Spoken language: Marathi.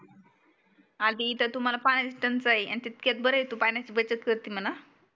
आधी तर तुम्हाला पाण्याची टंचाई पण तितक्यात बरा आहे तू पाण्याची बचत करते म्हणा